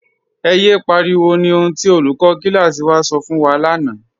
Ẹ̀ yẹ pariwo ni ohun tí olùkọ̀ kílásí wà sọ̀ fun wa lána.